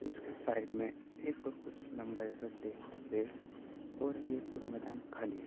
उसके साइड में एक और कुछ लम्बा जैसा टेंट है और यह पूरा मैदान खाली है।